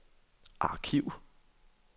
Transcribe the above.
arkiv